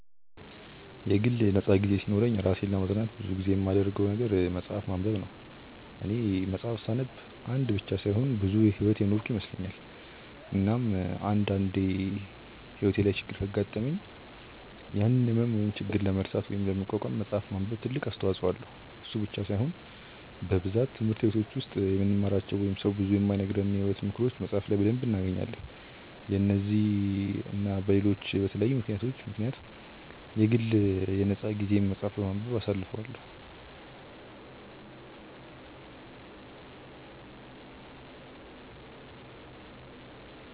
የግል ነፃ ጊዜ ሲኖረኝ እራሴን ለማዝናናት ብዙ ጊዜ የማደርገው መፅሐፍ ማንበብ ነው፦ እኔ መፅሐፍ ሳነብ አንድ ብቻ ሳይሆን ብዙ ሕይወት የኖርኩ ይመስለኛል፤ እናም አንድ አንዴ ሕይወቴ ላይ ችግር ካጋጠመኝ ያንን ህመም ወይም ችግር ለመርሳት ወይም ለመቋቋም መፅሐፍ ማንበብ ትልቅ አስተዋጽኦ አለው፤ እሱ ብቻ ሳይሆን በብዛት ትምህርት በቲች ውስጥ የማንማራቸው ወይንም ሰው ብዙ የማይነግረንን የሕይወት ምክሮችን መፅሐፍ ላይ በደንብ እናገኛለን፤ በነዚህ እና በለሎች በተለያዩ ምክንያቶች ምክንያት የግል የ ነፃ ጊዜየን መፅሐፍ በማንበብ አሳልፈዋለው።